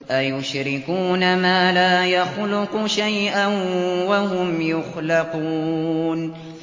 أَيُشْرِكُونَ مَا لَا يَخْلُقُ شَيْئًا وَهُمْ يُخْلَقُونَ